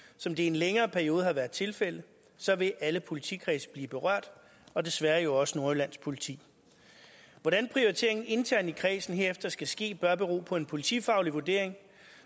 som det i en længere periode har været tilfældet så vil alle politikredse blive berørt og desværre også nordjyllands politi hvordan prioriteringen internt i kredsen herefter skal ske bør bero på en politifaglig vurdering